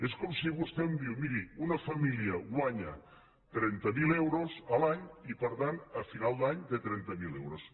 és com si vostè em diu miri una família guanya trenta mil euros a l’any i per tant a final d’any té trenta mil euros